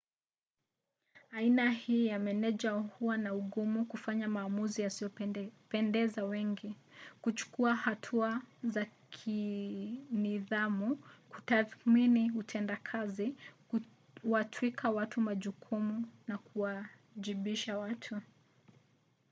aina hii ya meneja huwa na ugumu kufanya maamuzi yasiyopendeza wengi kuchukua hatua za kinidhamu kutathmini utendakazi kuwatwika watu majukumu na kuwajibisha watu